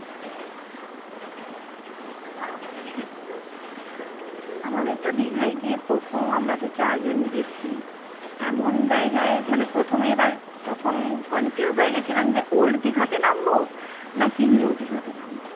আমাদের দীঘায় গিয়ে প্রথম আমরা চারজন গেছি এমন জায়গায় মানে প্রথমে এবার তখন confused হয়ে গেছিলাম যে old দিঘাতে নামব নাকি new দিঘাতে নামবো